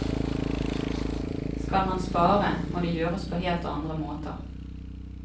Skal man spare, må det gjøres på helt andre måter.